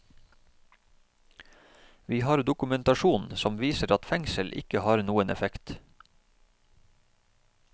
Vi har dokumentasjon som viser at fengsel ikke har noen effekt.